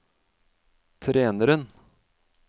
treneren